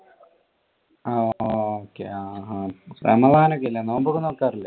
ആ റമദാൻ ഒക്കെ ഇല്ലേ നോയമ്പ് ഒക്കെ നോക്കാറിലെ.